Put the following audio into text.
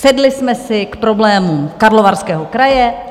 Sedli jsme si k problémům Karlovarského kraje.